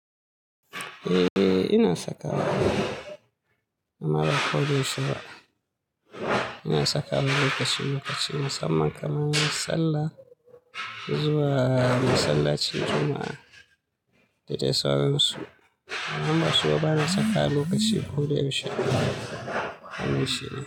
Eh, ina saka wa. Amma ba koda yaushe ba. Ina saka wa lokaci lokaci na mussaman kamar sallah, zuwa masallaci juma'a da dai sauran su. Amma suba bana saka lokaci ko da yaushe. Wannan shi ne.